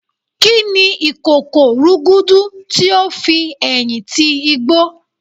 Kíni ìkòkò rúgúdú ti ó fi ẹ̀yìn ti igbó?